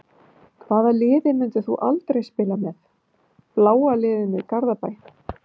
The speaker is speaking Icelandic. Hvaða liði myndir þú aldrei spila með: bláa liðinu í Garðabæ.